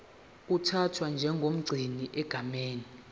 uthathwa njengomgcini egameni